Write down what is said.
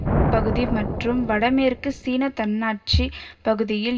பகுதி மற்றும் வட மேற்கு சீன தன்னாட்சி பகுதியில்